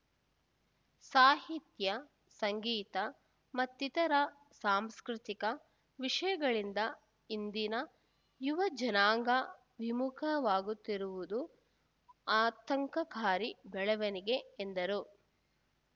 ಸಾಹಿತ್ಯ ಸಂಗೀತ ಮತ್ತಿತರ ಸಾಂಸ್ಕೃತಿಕ ವಿಷಯಗಳಿಂದ ಇಂದಿನ ಯುವಜನಾಂಗ ವಿಮುಖವಾಗುತ್ತಿರುವುದು ಆತಂಕಕಾರಿ ಬೆಳವಣಿಗೆ ಎಂದರು